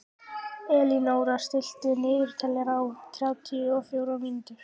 Elínóra, stilltu niðurteljara á þrjátíu og fjórar mínútur.